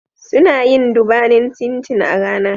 Suna yin dubanin cin cin a rana